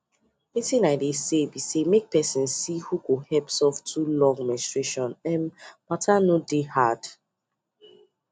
wetin I dey say be say make person see who go help through love menstruation um matter no dey hard